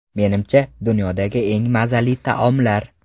Menimcha, dunyodagi eng mazali taomlar.